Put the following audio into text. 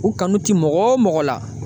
U kanu ti mɔgɔ o mɔgɔ la.